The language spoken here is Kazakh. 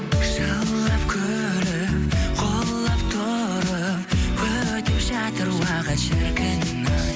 жылап күліп құлап тұрып өтіп жатыр уақыт шіркін ай